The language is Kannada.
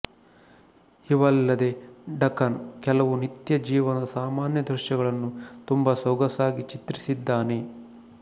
ಇವಲ್ಲದೆ ಡಕಾನ್ ಕೆಲವು ನಿತ್ಯ ಜೀವನದ ಸಾಮಾನ್ಯ ದೃಶ್ಯಗಳನ್ನೂ ತುಂಬ ಸೊಗಸಾಗಿ ಚಿತ್ರಿಸಿದ್ದಾನೆ